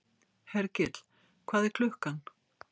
Hergill, hvað er klukkan?